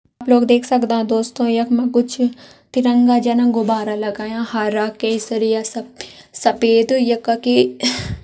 आप लोग देख सकदा दोस्तों यखमा कुछ तिरंगा जन गुब्बारा लगायां हराकेशरी सफ़ेद या का की --